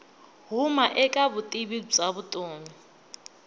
huma eka vutivi bya vutomi